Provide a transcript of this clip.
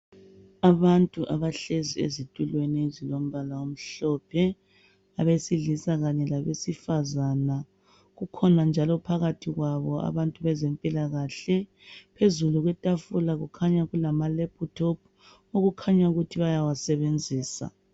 Abantu abahlezi ezitulweni ezilombala omhlophe abesilisa kanye labesifazana. Kukhona njalo phakathi kwabo abantu bezempilakahle. Phezulu kwetafula kukhanya kulamalephuthophu okukhanya ukuthi bayawasebenzisa.